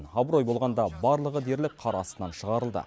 абырой болғанда барлығы дерлік қар астынан шығарылды